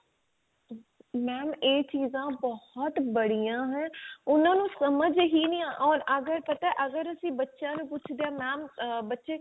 mam ਇਹ ਚੀਜ਼ਾਂ ਬਹੁਤ ਬੜੀਆਂ ਹੈ ਉਹਨਾਂ ਨੂੰ ਸਮਝ ਹੀ ਨਹੀਂ or ਅਗਰ ਪਤਾ ਅਗਰ ਅਸੀਂ ਬੱਚੇਆਂ ਨੂੰ ਪੁਛਦੇ ਆ mam ਆ ਬਚੇ